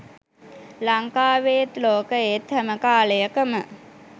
ලංකාවේත් ලෝකයේත් හැම කාලයකම